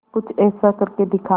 कुछ ऐसा करके दिखा